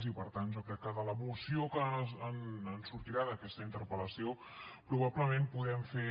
i per tant jo crec que de la moció que en sortirà d’aquesta interpel·lació probablement podem fer